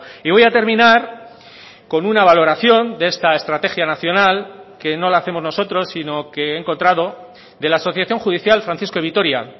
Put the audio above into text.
y voy a terminar con una valoración de esta estrategia nacional que no la hacemos nosotros sino que he encontrado de la asociación judicial francisco de vitoria